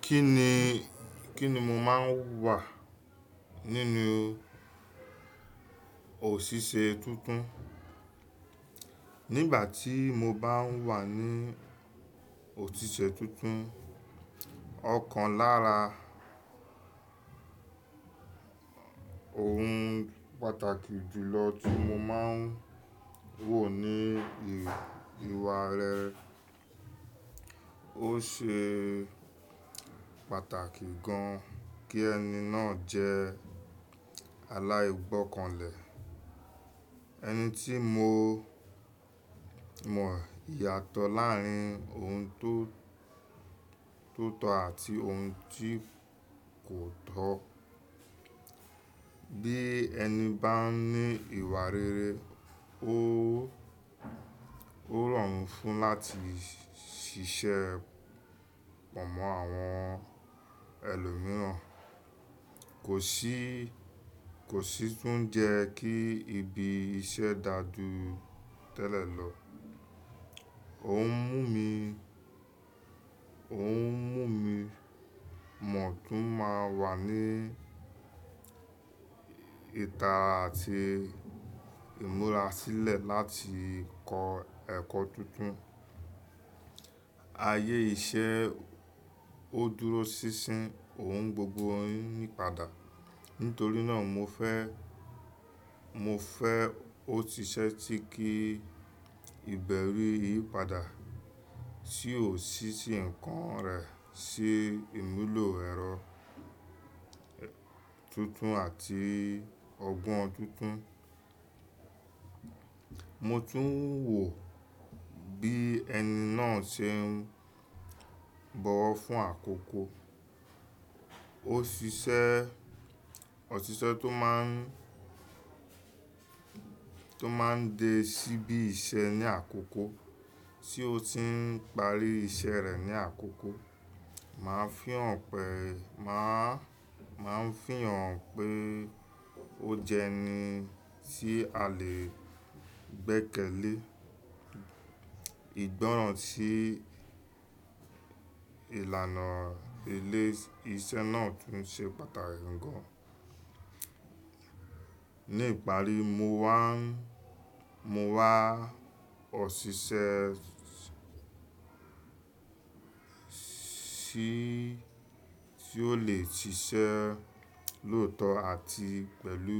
Kí ni, kí ni mo máa ń wà nínú òṣìṣẹ́ tuntun? Nígbà tí mo bá ń wà ní òṣìṣẹ́ tuntun, ọ̀kan lára oun pàtàkì jùlọ tí mo máa ń wò ní ìwà rẹ̀. Ó ṣe pàtàkì gan kí ẹni náà jẹ́ aláìgbọ́kànlẹ̀. Ẹni tí mo mọ ìyàtọ̀ láàrín oun tó, tó tọ́ àti ohun tí kò tọ́. Bí ẹni bá ní ìwà rere, ó, ó rọrùn fún un láti ṣiṣẹ́ pọ̀ mọ́ àwọn ẹlòmíràn. Kò sí, kò sì tún jẹ kí ibi iṣẹ́ dà ju tẹ́lẹ̀ lọ. Ó ń mú mi, ó ń mú mi mọ̀ tún máa wà ní ìta àti ìmúra sílẹ̀ láti kọ ẹkọ tuntun. Ayé iṣẹ́ ó dúró sísín, òun gbogbo oyún ní padà. Nítorí náà mo fẹ́, mo fẹ́ òtìṣẹ́ tí kí ìbẹ̀rù yìí padà, tí ó sísi nǹkan rẹ̀, se ìmúlò ẹ̀rọ tuntun àti ọgbọ́n tuntun. Mo tún ń wò bí ẹni náà ṣe ń bọ̀wọ̀ fún àkókò. Ó siṣẹ́, òsìṣẹ́ tó máa ń, tó máa ń dé síbí iṣẹ́ ní àkókò, tí ó ti ń parí iṣẹ́ rẹ̀ ní àkókò. Máa ń fihàn pé, máa, máa ń fihàn pé ó jẹ ẹni tí a lè gbẹ́kẹ̀lé. Ìgbọ́ràn sí ìlànà ilé iṣẹ́ náà tún ṣe pàtàkì gan. Ní ìparí, mo wá n mo wá òsìsẹ́ tí, tí ó lè siṣẹ́ lóòtọ́ àti pẹ̀lú